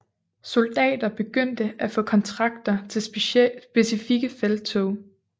Soldater begyndte at få kontrakter til specifikke felttog